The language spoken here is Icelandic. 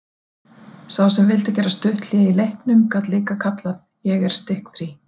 Sá sem vildi gera stutt hlé í leiknum gat líka kallað: Ég er stikkfrí.